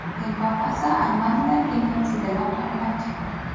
Rim papasi armanilar genotsidini qoralab chiqdi.